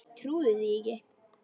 Trúði því ekki.